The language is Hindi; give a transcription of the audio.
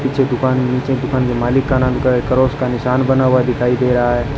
पीछे दुकान नीचे दुकान के मालिक का नाम का एक क्रॉस का निशान बना हुआ दिखाई दे रहा है।